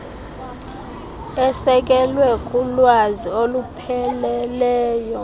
esekelwe kulwazi olupheleleyo